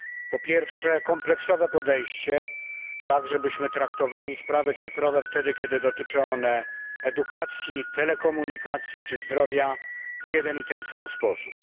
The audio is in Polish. Po pierwsze, kompleksowe podejście, tak żebyśmy traktowali sprawy cyfrowe, kiedy dotyczą one edukacji, telekomunikacji czy zdrowia, w jeden i ten sam sposób.